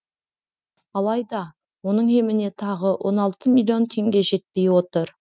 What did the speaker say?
алайда оның еміне тағы он алты миллион теңге жетпей отыр